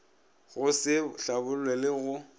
go se hlabollwe le go